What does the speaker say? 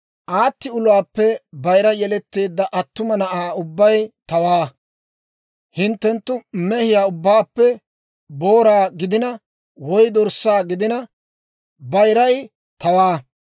«Aati uluwaappe bayira yelettiyaa attuma na'aa ubbay tawaa; hinttenttu mehiyaa ubbaappe booraa gidina, woy dorssaa gidina, bayiray tawaa;